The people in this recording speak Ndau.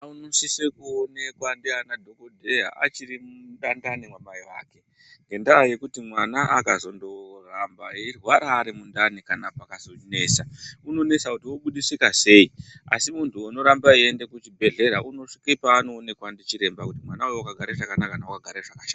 Mwana unosisa kuonekwa ndiana dhokodheya achiri mundani mwamai ake ngendaya yekuti mwana akazondoramba eirwara ari mundani kana pakazonesa, unonesa kuti obudisika sei. Asi munhu unoramba eienda kuzvibhehlera unosvike paaanonekwa ndichiremba kuti mwana uyu wakagara chakanaka kana kuti wakagara zvakashata